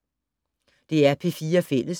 DR P4 Fælles